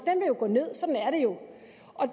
og